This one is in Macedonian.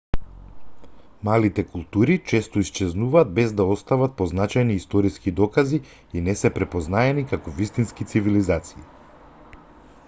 малите култури често исчезнуваат без да остават позначајни историски докази и не се препознаени како вистински цивилизации